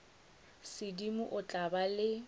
sedimo o tla ba le